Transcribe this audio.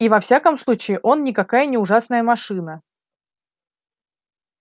и во всяком случае он никакая не ужасная машина